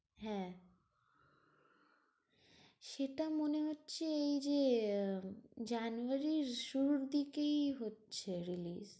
হ্যাঁ, সেটা মনে হচ্ছে এই যে আহ জানুয়ারীরির শুরুর দিকেই হচ্ছে release.